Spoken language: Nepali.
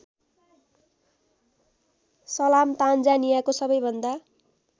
सलाम तान्जानियाको सबैभन्दा